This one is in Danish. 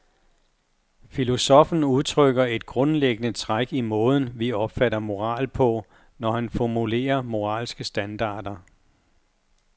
Filosoffen udtrykker et grundlæggende træk i måden, vi opfatter moral på, når han formulerer moralske standarder.